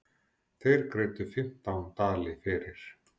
Þeir greiddu fimmtán dali fyrir.